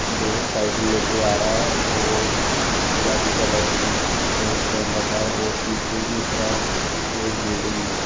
जो साइकिल लेके आ रहा है और गुलाबी कलर की टी शर्ट पहन रखा है और पीछे की तरफ एक बिल्डिंग है।